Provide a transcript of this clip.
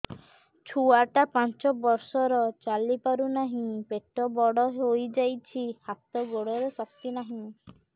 ଛୁଆଟା ପାଞ୍ଚ ବର୍ଷର ଚାଲି ପାରୁ ନାହି ପେଟ ବଡ଼ ହୋଇ ଯାଇଛି ହାତ ଗୋଡ଼ରେ ଶକ୍ତି ନାହିଁ